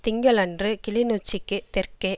திங்களன்று கிளிநொச்சிக்குத் தெற்கே